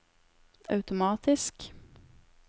automatisk